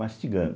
Mastigando.